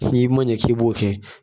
F'i man ɲɛ k'i b'o kɛ